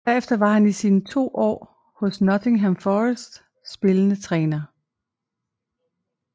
Herefter var han i sine to år hos Nottingham Forest spillende træner